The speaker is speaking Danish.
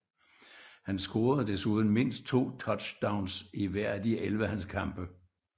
Han scorede desuden mindst 2 touchdowns i hver af de 11 hans kampe